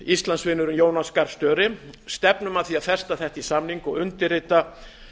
íslandsvinurinn jonas gahr störe stefnum að því að festa þetta í samning og undirrita